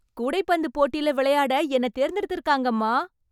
கூடைப்பந்து போட்டில விளையாட என்னை தேர்ந்து எடுத்துருக்காங்கம்மா.